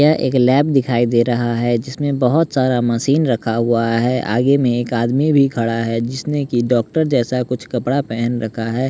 यह एक लैब दिखाई दे रहा है जिसमें बहुत सारा मशीन रखा हुआ है आगे में एक आदमी भी खड़ा है जिसने कि डॉक्टर जैसा कुछ कपड़ा पहन रखा है।